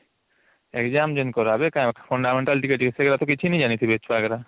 exam ଯେମିତି କରା ହବେ କାରଣ fundamental ଟିକେ ଟିକେ ସେଗୁଡା ତ କିଛି ନାଇଁ ଜାଣିଥିବେ ଛୁଆ ଗୁଡା